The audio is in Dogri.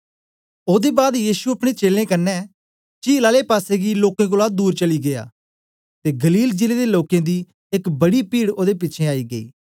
ओदे बाद यीशु अपने चेलें कन्ने चील आले पासेगी लोकें कोलां दूर चली गीया ते गलील जिले दे लोकें दी एक बड़ी पीड ओदे पिछें आई गेई